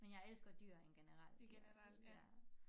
Men jeg elsker dyr in generelt i hvert fald ja